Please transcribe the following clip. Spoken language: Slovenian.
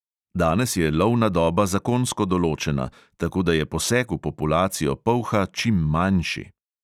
Danes je lovna doba zakonsko določena, tako da je poseg v populacijo polha čim manjši.